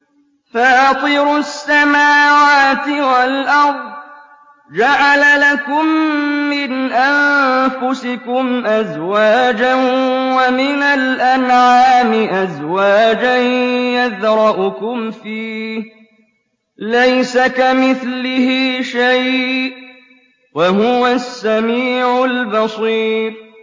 فَاطِرُ السَّمَاوَاتِ وَالْأَرْضِ ۚ جَعَلَ لَكُم مِّنْ أَنفُسِكُمْ أَزْوَاجًا وَمِنَ الْأَنْعَامِ أَزْوَاجًا ۖ يَذْرَؤُكُمْ فِيهِ ۚ لَيْسَ كَمِثْلِهِ شَيْءٌ ۖ وَهُوَ السَّمِيعُ الْبَصِيرُ